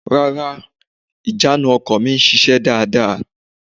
Rárá, ìjánu ọkọ̀ mi sise dáàda.